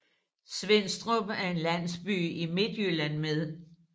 Svenstrup er en landsby i Midtjylland med